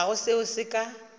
ga go seo se ka